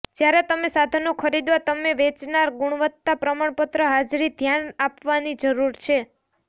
જ્યારે તમે સાધનો ખરીદવા તમે વેચનાર ગુણવત્તા પ્રમાણપત્ર હાજરી ધ્યાન આપવાની જરૂર છે